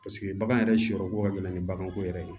Paseke bagan yɛrɛ siyɔrɔ ko ka gɛlɛn ni baganko yɛrɛ ye